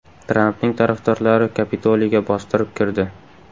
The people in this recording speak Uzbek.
Trampning tarafdorlari Kapitoliyga bostirib kirdi.